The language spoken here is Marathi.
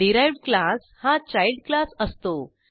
डिराइव्ह्ड क्लास हा चाईल्ड क्लास असतो